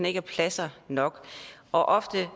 ikke er pladser nok ofte